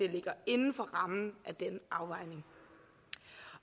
ligger inden for rammen af denne afvejning